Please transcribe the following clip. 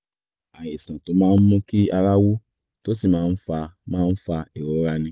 àìsàn tó máa ń mú kí ara wú tó sì máa ń fa máa ń fa ìrora ni